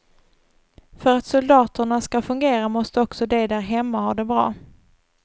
För att soldaterna ska fungera måste också de där hemma ha det bra.